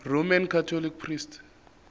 roman catholic priests